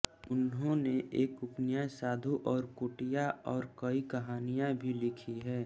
उन्होंने एक उपन्यास साधु और कुटिया और कई कहानियाँ भी लिखी हैं